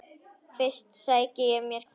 Fyrst sæki ég mér kaffi.